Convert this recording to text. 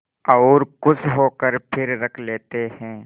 और खुश होकर फिर रख लेते हैं